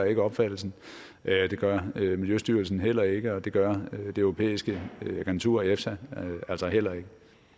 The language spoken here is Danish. ikke opfattelsen det gør miljøstyrelsen heller ikke og det gør det europæiske agentur efsa altså heller ikke